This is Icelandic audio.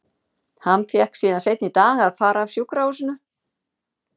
Hann fékk síðan seinna í dag að fara af sjúkrahúsinu.